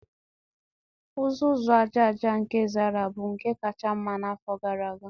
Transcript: Uzuzu aja aja nke Zara bụ nke kacha mma n'afọ gara aga